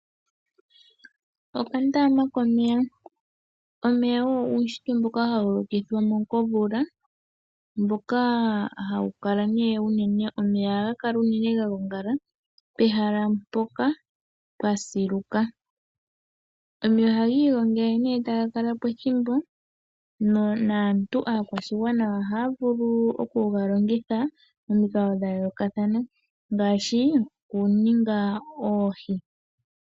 Okandaama komeya Omeya ogo uunshitwe mboka hawu lokithwa komvula. Omeya ohaga kala unene ga gongala pehala mpoka pwa siluka. Omeya ohaga igongele e taga kala po ethimbo. Naantu akwashigwana ohaya vulu okuga longitha momikalo dha yoolokathana ngaashi okuninga oohi.